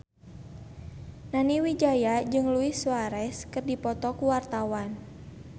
Nani Wijaya jeung Luis Suarez keur dipoto ku wartawan